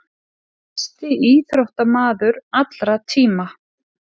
Mesti íþróttamaður allra tíma.